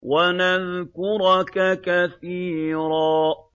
وَنَذْكُرَكَ كَثِيرًا